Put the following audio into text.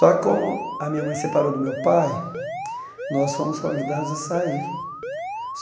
Só que, como a minha mãe separou do meu pai, nós fomos convidados a sair.